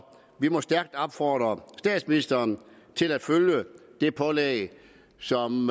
vi må stærkt opfordre statsministeren til at følge det pålæg som